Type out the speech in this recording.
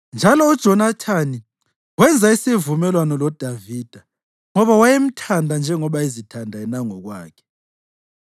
Njalo uJonathani wenza isivumelwano loDavida ngoba wayemthanda njengoba ezithanda yena ngokwakhe.